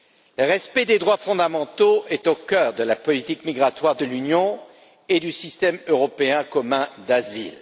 Le respect des droits fondamentaux est au cœur de la politique migratoire de l'Union et du système européen commun d'asile.